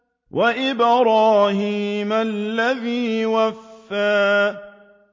وَإِبْرَاهِيمَ الَّذِي وَفَّىٰ